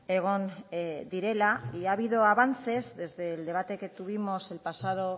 egon direla y ha habido avances desde el debate que tuvimos el pasado